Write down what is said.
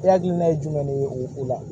E hakilina ye jumɛn de ye o la